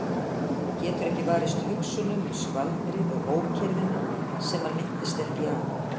Getur ekki varist hugsunum um skvaldrið og ókyrrðina sem hann minnist ekki á.